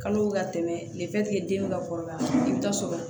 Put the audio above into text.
Kalo bɛ ka tɛmɛ den bɛ ka kɔrɔbaya i bɛ taa sɔrɔ